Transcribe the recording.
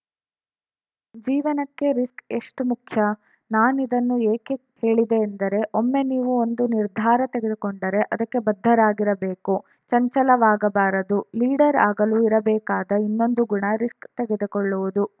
ಜೀವನಕ್ಕೆ ರಿಸ್ಕ್‌ ಎಷ್ಟುಮುಖ್ಯ ನಾನಿದನ್ನು ಏಕೆ ಹೇಳಿದೆ ಎಂದರೆ ಒಮ್ಮೆ ನೀವು ಒಂದು ನಿರ್ಧಾರ ತೆಗೆದುಕೊಂಡರೆ ಅದಕ್ಕೆ ಬದ್ಧರಾಗಿರಬೇಕು ಚಂಚಲವಾಗಬಾರದು ಲೀಡರ್‌ ಆಗಲು ಇರಬೇಕಾದ ಇನ್ನೊಂದು ಗುಣ ರಿಸ್ಕ್‌ ತೆಗೆದುಕೊಳ್ಳುವುದು